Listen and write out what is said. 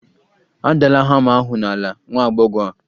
Adala hama ahụ n'ala, nwa agbọghọ a